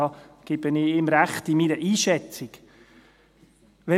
darin gebe ich ihm mit meiner Einschätzung recht.